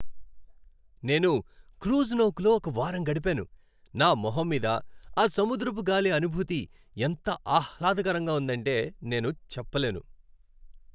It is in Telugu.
నేను క్రూయిజ్ నౌకలో ఒక వారం గడిపాను, నా మొహం మీద ఆ సముద్రపు గాలి అనుభూతి ఎంత ఆహ్లాదకరంగా ఉందంటే నేను చెప్పలేను.